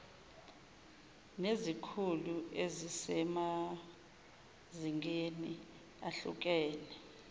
nezikhulu ezisemazingeni ahlukene